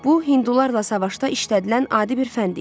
Bu, hindularla savaşda işlədilən adi bir fənd idi.